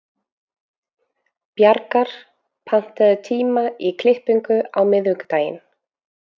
Bjargar, pantaðu tíma í klippingu á miðvikudaginn.